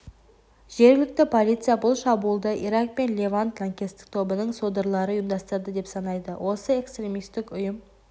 жергілікті полиция бұл шабуылды ирак пен левант лаңкестік тобының содырлары ұйымдастырды деп санайды осы экстремистік ұйым